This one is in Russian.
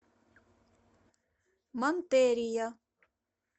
монтерия